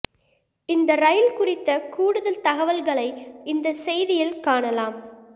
இந்த ரயில் குறித்த கூடுதல் தகவல்களஐ இந்த செய்தியில் காணலாம்